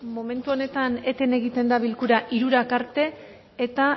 momentu honetan eten egiten da bilkura hirurak arte eta